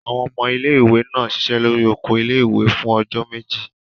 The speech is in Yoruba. Àwọn ọmọ ilé-ìwé náà ṣiṣẹ́ lórí oko ilé-ìwé fún ọjọ́ méjì.